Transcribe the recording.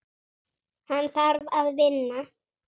Hann þarf að vinna.